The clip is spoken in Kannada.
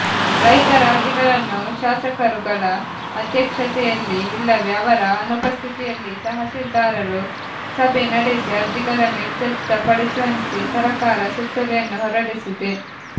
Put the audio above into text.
ರೈತರ ಅರ್ಜಿಗಳನ್ನು ಶಾಸಕರುಗಳ ಅಧ್ಯಕ್ಷತೆಯಲ್ಲಿ ಇಲ್ಲವೆ ಅವರ ಅನುಪಸ್ಥಿತಿಯಲ್ಲಿ ತಹಶೀಲ್ದಾರರು ಸಭೆ ನಡೆಸಿ ಅರ್ಜಿಗಳನ್ನು ಇತ್ಯರ್ಥಪಡಿಸುವಂತೆ ಸರಕಾರ ಸುತ್ತೋಲೆಯನ್ನು ಹೊರಡಿಸಿದೆ